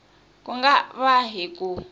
ku nga va hi ku